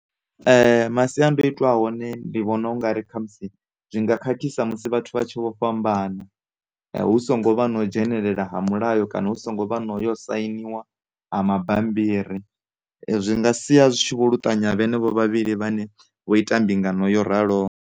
Masiandoitwa a hone ndi vhona ungari khamusi zwi nga khakhisa musi vhathu vha tshi vho fhambana hu songo vha na u dzhenelela ha mulayo kana hu songo vha no yo sainiwa ha mabammbiri zwi nga sia zwi tshi vho luṱanya vhenevho vhavhili vhane vho ita mbingano yo raloho.